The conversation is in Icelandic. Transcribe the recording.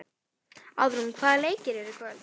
Auðrún, hvaða leikir eru í kvöld?